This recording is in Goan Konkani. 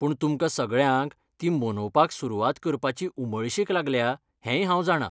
पूण तुमकां सगळ्यांक ती मनोवपाक सुरूवात करपाची उमळशीक लागल्या हेंय हांव जाणां.